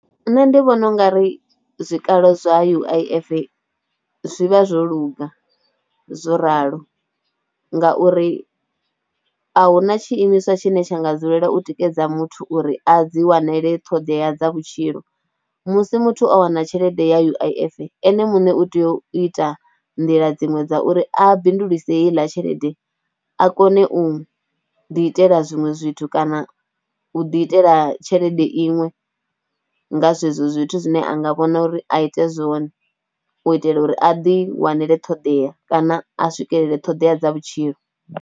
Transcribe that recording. Nṋe ndi vhona ungari zwikalo zwa U_I_F zwi vha zwo luga zwo ralo ngauri, ahuna tshiimiswa tshine tsha nga dzulela u tikedza muthu uri a dzi wanele ṱhoḓea dza vhutshilo. Musi muthu o wana tshelede ya U_I_F ene muṋe u tea u ita nḓila dziṅwe dza uri a bindulise heiḽa tshelede a kone u ḓi itela zwiṅwe zwithu kana u ḓi itela tshelede iṅwe nga zwe zwo zwithu zwine anga vhona uri a ite zwone u itela uri a ḓi wanele ṱhoḓea kana, a swikelele ṱhoḓea dza vhutshilo.